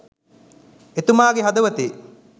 එතුමාගේ හදවතේ